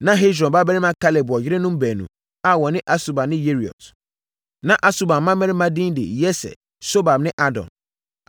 Na Hesron babarima Kaleb wɔ yerenom baanu a wɔne Asuba ne Yeriot. Na Asuba mmammarima edin de Yeser, Sobab ne Ardon.